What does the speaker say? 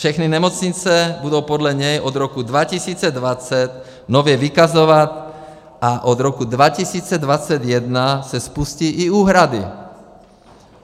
Všechny nemocnice budou podle něj od roku 2020 nově vykazovat a od roku 2021 se spustí i úhrady.